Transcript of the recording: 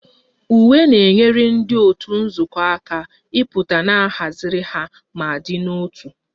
Uwe na-enyere ndị otu nzukọ aka ịpụta na a haziri ha ma dị n'otu